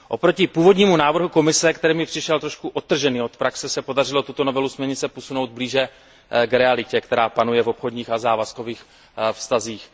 Oproti původnímu návrhu Komise, který mi přišel trošku odtržený od praxe, se podařilo tuto novelu směrnice posunout blíže k realitě, která panuje v obchodních a závazkových vztazích.